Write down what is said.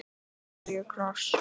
Af hverju kross?